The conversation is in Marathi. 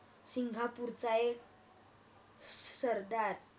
सिंगापूरचा एक सरदार